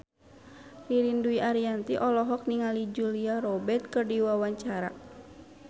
Ririn Dwi Ariyanti olohok ningali Julia Robert keur diwawancara